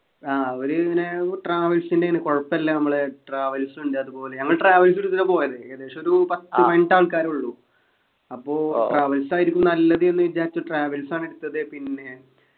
ആഹ് അവരിങ്ങനെ travels ൻ്റെണ് കൊഴപ്പില്ല നമ്മളെ travels ണ്ട് അതുപോലെ ഞങ്ങൾ travels എടുത്തിട്ടാ പോയത് ഏകദേശോരു പത്തു പതിനെട്ടാൾക്കാരെ ഉള്ളു അപ്പൊ travels ആയിരിക്കും നല്ലത് എന്ന് വിചാരിച്ചു travels ആണ് എടുത്തത് പിന്നെ